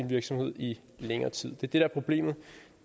virksomhed i længere tid det det der er problemet